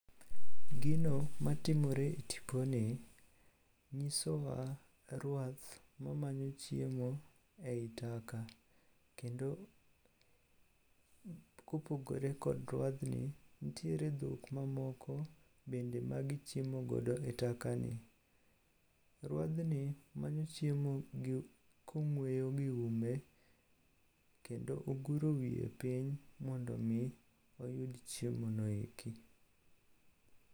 Gino matimore e tiponi nyisowa ruath mamanyo chiemo e i taka, kendo kopogore kod ruadhni, nitiere dhok mamoko bende magichiemogo e taka ni. Ruadhni manyo chiemo kong'weyo gi ume kendo oguro wiye piny mondo omi oyud chiemono eki.